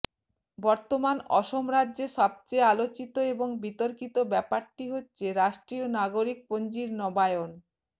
বর্তমান অসম রাজ্যে সবচেয়ে আলোচিত এবং বিতর্কিত ব্যাপারটি হচ্ছে রাষ্ট্রীয় নাগরিক পঞ্জির নবায়ন